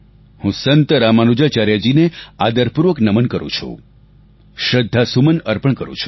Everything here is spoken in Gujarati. હું સંત રામાનુજાચાર્યજીને આદરપૂર્વક નમન કરું છું શ્રદ્ધાસુમન અર્પણ કરું છું